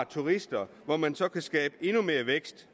turister og hvor man så kan skabe endnu mere vækst